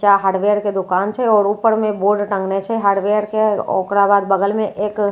नीचा हार्डवेयर के दोकान छे आओर ऊपर मे बोर्ड टांगने छे हार्डवेयर के आ ओकरा बाद बगल मे एक घर छे--